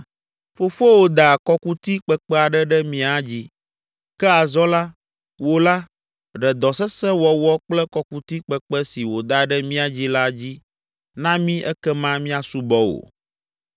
“Fofowò da kɔkuti kpekpe aɖe ɖe mía dzi. Ke azɔ la, wò la, ɖe dɔ sesẽ wɔwɔ kple kɔkuti kpekpe si wòda ɖe mía dzi la dzi na mí ekema míasubɔ wò.”